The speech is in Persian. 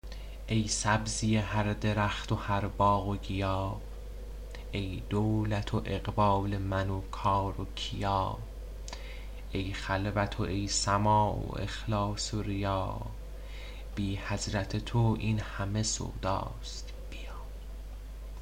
ای سبزی هر درخت و هر باغ و گیا ای دولت و اقبال من و کار و کیا ای خلوت و ای سماع و اخلاص و ریا بی حضرت تو این همه سوداست بیا